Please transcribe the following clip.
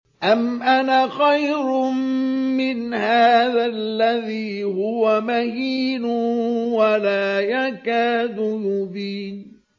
أَمْ أَنَا خَيْرٌ مِّنْ هَٰذَا الَّذِي هُوَ مَهِينٌ وَلَا يَكَادُ يُبِينُ